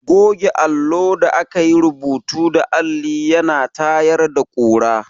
Goge allo da aka yi rubutu da alli ya na tayar da ƙura.